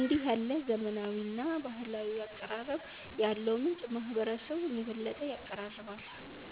እንዲህ ያለ ዘመናዊና ባህላዊ አቀራረብ ያለው ምንጭ ማህበረሰቡን የበለጠ ያቀራርባል።